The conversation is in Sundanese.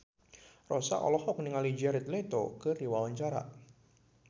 Rossa olohok ningali Jared Leto keur diwawancara